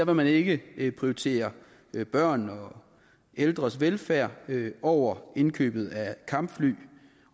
man ikke prioritere børn og ældres velfærd over indkøbet af kampfly